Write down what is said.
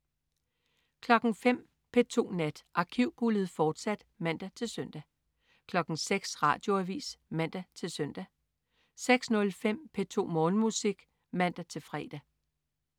05.00 P2 Nat. Arkivguldet, fortsat (man-søn) 06.00 Radioavis (man-søn) 06.05 P2 Morgenmusik (man-fre)